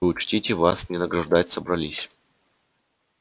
учтите вас не награждать собрались